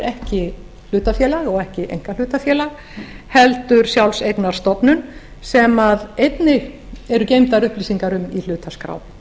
ekki hlutafélag og ekki einkahlutafélag heldur sjálfseignarstofnun sem einnig eru geymdar upplýsingar um í hlutaskrá